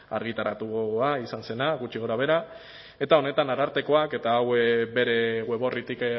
argitaratua izan zena gutxi gorabehera eta honetan arartekoak eta hau bere web orritik